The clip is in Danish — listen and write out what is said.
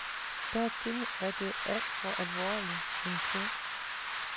Dertil er det alt for alvorlig en ting.